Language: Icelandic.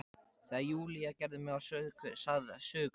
Þegar Júlía gerði mig að sögukonu.